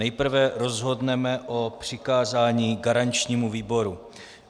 Nejprve rozhodneme o přikázání garančnímu výboru.